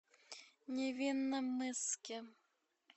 невинномысске